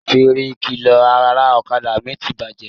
Fèrè ìkìlọ̀ ara ọ̀kadà mi ti bàjẹ́